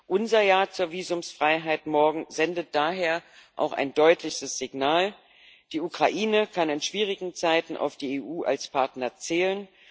Unser Ja zur Visumfreiheit morgen sendet daher auch ein deutliches Signal Die Ukraine kann in schwierigen Zeiten auf die EU als Partner zählen.